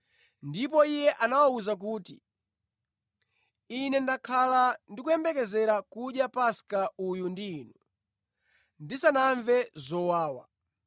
Ndipo Iye anawawuza kuti, “Ine ndakhala ndikuyembekezera kudya Paska uyu ndi inu ndisanamve zowawa.